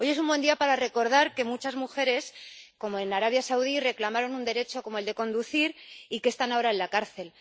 Hoy es un buen día para recordar que muchas mujeres, como en Arabia Saudí, reclamaron un derecho, como el de conducir, y que están ahora en la cárcel.